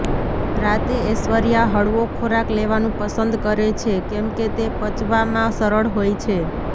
રાતે ઐશ્વર્યા હળવો ખોરાક લેવાનું પસંદ કરે છે કેમકે તે પચવામાં સરળ હોય છે